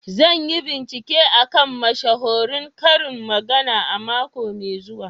Zan yi bincike a kan mashahuran karin magana a mako mai zuwa.